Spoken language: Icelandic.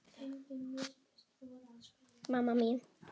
mamma mín